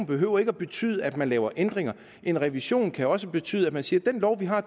behøver at betyde at man laver ændringer en revision kan også betyde at man siger at den lov vi har